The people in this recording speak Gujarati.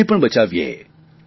દેશને પણ બચાવીએ